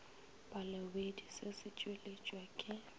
balobedu se se tšweletšwa ke